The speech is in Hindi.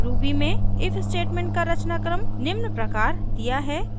ruby में if statement का रचनाक्रम निम्न प्रकार दिया है: